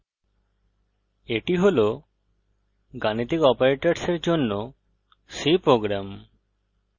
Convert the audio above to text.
এটি হল গাণিতিক অপারেটরের জন্য c প্রোগ্রাম